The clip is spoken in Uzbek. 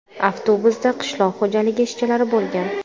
Avtobusda qishloq xo‘jaligi ishchilari bo‘lgan.